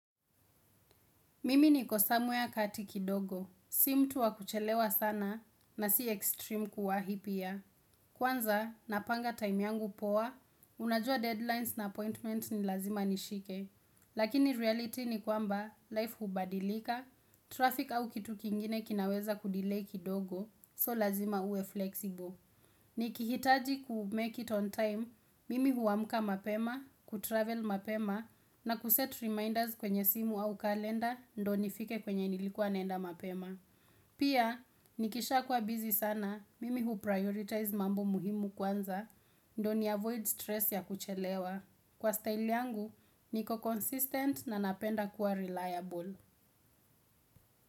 Mimi nikosamwea katiki dogo, si mtu wa kuchelewa sana na si extreme kuwahi pia. Kwanza, napanga time yangu poa, unajua deadlines na appointment ni lazima nishike. Lakini reality ni kwamba, life hubadilika, traffic au kitu kingine kinaweza kudilayi kidogo, so lazima uwe flexible. Ni kihitaji kumake it on time, mimi huamka mapema, kutravel mapema, na kuset reminders kwenye simu au kalenda, ndio nifike kwenye nilikuwa nenda mapema. Pia, nikisha kwa busy sana, mimi huprioritize mambo muhimu kwanza, ndo ni avoid stress ya kuchelewa. Kwa style yangu, niko consistent na napenda kuwa reliable.